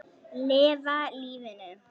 Lifa lífinu!